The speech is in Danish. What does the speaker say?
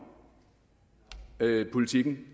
politikken